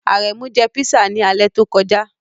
Aremu jẹ pisa ni alẹ to koja